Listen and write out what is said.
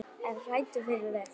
Ertu hræddur frændi?